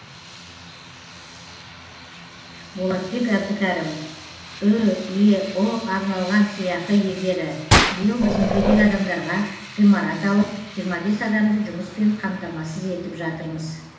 болатбек әбдікәрім үеұ арналған сыйақы иегері биыл біз мүгедек адамдарға ғимарат алып жиырма бес адамды жұмыспен қамтамасыз етіп жатырмыз